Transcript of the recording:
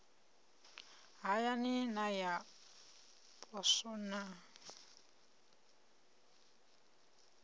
hayani na ya poswo na